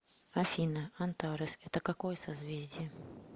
афина антарес это какое созвездие